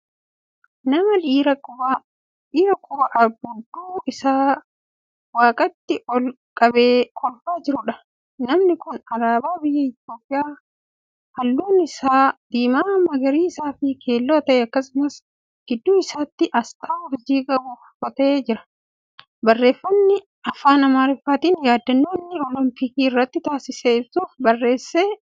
Nama dhiiraa quba abbuudduu Isaa waaqatti ol-qabee kolfaa jiruudha. namni Kuni alaabaa biyya itoophiyaa kalluun Isaa diimaa, magariisafi keelloo ta'e akkasumas gidduu isaatiin aasxaa urjii qabu uffatee jira. barreeffamni afaan amaaraatiin yaadannoo inni olompikii irratti taasise ibsuuf barreeffame cinaa isaatti argama.